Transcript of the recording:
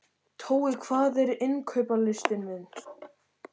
Tói, hvað er á innkaupalistanum mínum?